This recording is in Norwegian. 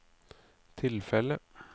tilfellet